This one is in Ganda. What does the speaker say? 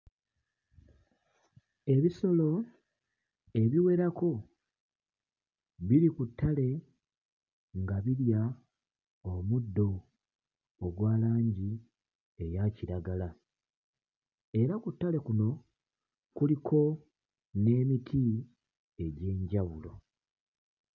Ebisolo ebiwerako biri ku ttale nga birya omuddo ogwa langi eya kiragala era ku ttale kuno kuliko n'emiti egy'enjawulo.